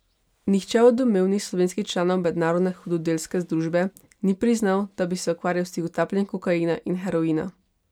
Nihče od domnevnih slovenskih članov mednarodne hudodelske združbe ni priznal, da bi se ukvarjal s tihotapljenjem kokaina in heroina.